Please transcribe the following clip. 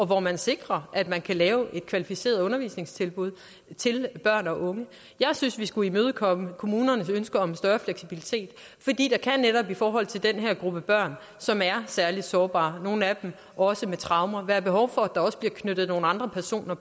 hvor man sikrer at man kan give et kvalificeret undervisningstilbud til børn og unge jeg synes vi skulle imødekomme kommunernes ønske om større fleksibilitet fordi der netop i forhold til den her gruppe børn som er særlig sårbare nogle af dem også med traumer kan være behov for at der også bliver tilknyttet nogle andre personer